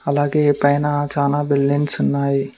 అలాగే పైన చానా బిల్డింగ్స్ ఉన్నాయి.